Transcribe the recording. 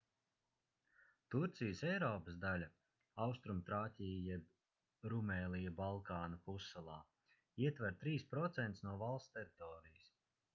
turcijas eiropas daļa austrumtrāķija jeb rumēlija balkānu pussalā ietver 3% no valsts teritorijas